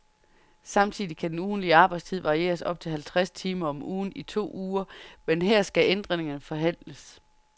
Samtidig kan den ugentlige arbejdstid varieres op til halvtreds timer om ugen i to uger, men her skal ændringerne forhandles.